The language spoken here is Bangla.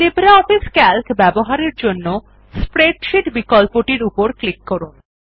লিব্রিঅফিস সিএএলসি ব্যবহারের জন্য স্প্রেডশীট বিকল্পটির উপর ক্লিক করুন